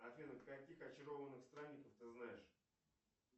афина каких очарованных странников ты знаешь